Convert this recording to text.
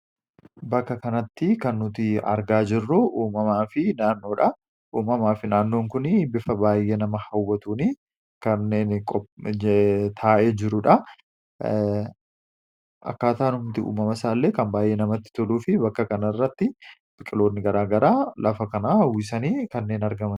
Bakka kanatti kan nuti argaa jirru uummamaa fi naannoodha. Uummamaa fi naannoon kun bifa baayyee nama hawwatuun kanneen taa'ee jiruudha. Akkaataadhumti uummama isaallee kan baayye namatti toluu fi bakka kana irratti biqiloonni gara garaa lafa kana uwwisanii kanneen argamanidha.